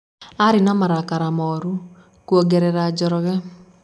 Arĩ na marakara moru. Kũongerera Njoroge.